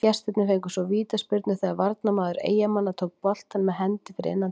Gestirnir fengu svo vítaspyrnu þegar varnarmaður Eyjamanna tók boltann með hendi fyrir innan teig.